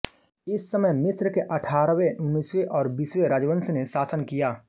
इस समय मिस्र के अठारहवें उन्नीसवें और बीसवें राजवंश ने शासन किया